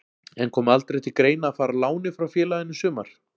En kom aldrei til greina að fara á láni frá félaginu í sumar?